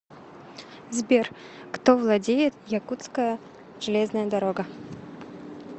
сбер кто владеет якутская железная дорога